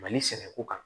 Mali sɛnɛko kan